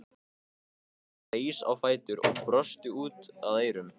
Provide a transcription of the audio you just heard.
Hún reis á fætur og brosti út að eyrum.